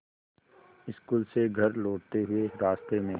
school से घर लौटते हुए रास्ते में